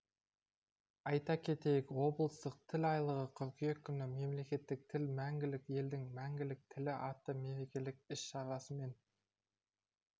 айта кетейік облыстық тіл айлығы қыркүйек күні мемлекеттік тіл мәңгілік елдің мәңгілік тілі атты мерекелік іс-шарасымен